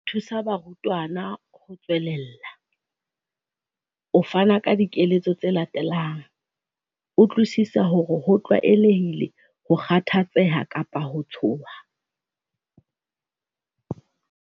Ho thusa barutwana ho tswelella, o fana ka dikeletso tse latelang- Utlwisisa hore ho tlwaelehile ho kgathatseha kapa ho tshoha.